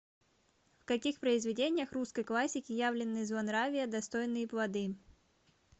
в каких произведениях русской классики явлены злонравия достойные плоды